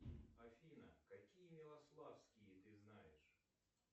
афина какие милославские ты знаешь